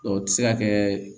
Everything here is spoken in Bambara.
O tɛ se ka kɛ